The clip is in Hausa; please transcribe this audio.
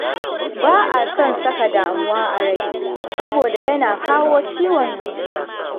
Ba a son saka damuwa a rai saboda yana kawo ciwon zuciya